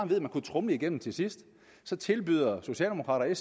kunne tromle det igennem til sidst så tilbyder socialdemokraterne og